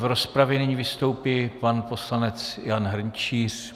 V rozpravě nyní vystoupí pan poslanec Jan Hrnčíř.